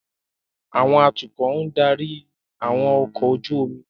Àwọn atukọ̀ ń darí àwọn ọkọ̀ ojú omi